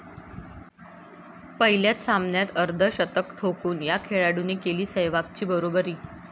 पहिल्याच सामन्यात अर्धशतक ठोकून या खेळाडूने केली सेहवागची बरोबरी